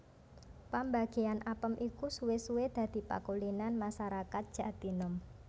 Pambagéyan apem iku suwé suwé dadi pakulinan masarakat Jatinom